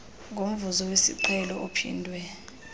ngomvuzo wesiqhelo ophindwe